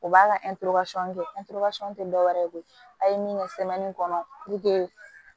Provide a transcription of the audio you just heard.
O b'a ka kɛ tɛ dɔwɛrɛ ye koyi a ye min kɛ kɔnɔ